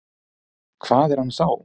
Hvað er hann þá?